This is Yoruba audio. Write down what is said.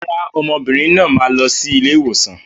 Rárá, ọmọbìnrin náà máa lọ sí ilé ìwòsàn.